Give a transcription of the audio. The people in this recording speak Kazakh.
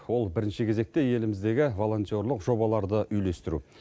ол бірінші кезекте еліміздегі волонтерлік жобаларды үйлестіру